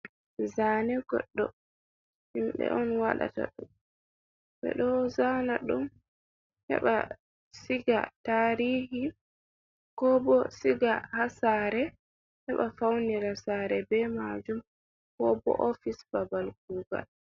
Zane goɗɗo himɓɓe on waɗata, ɓe ɗo zana ɗum heɓa siga tarihi, ko bo siga ha sare, heɓa faunira sare be majum, ko bo ofice babal kugal.